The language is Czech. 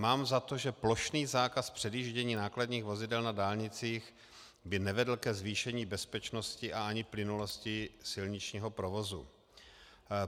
Mám za to, že plošný zákaz předjíždění nákladních vozidel na dálnicích by nevedl ke zvýšení bezpečnosti a ani plynulosti silničního provozu.